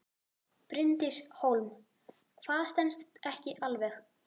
Bryndís Hólm: Hvað stenst ekki alveg?